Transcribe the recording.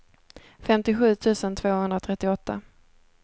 femtiosju tusen tvåhundratrettioåtta